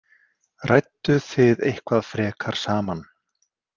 Rædduð þið eitthvað frekar saman?